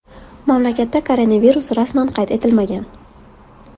Mamlakatda koronavirus rasman qayd etilmagan.